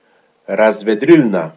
Razvedrilna.